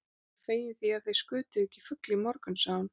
Ég er fegin því, að þig skutuð ekki fugl í morgun sagði hún.